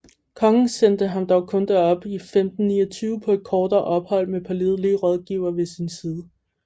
Kongen sendte ham dog kun derop i 1529 på et kortere ophold med pålidelige rådgivere ved sin side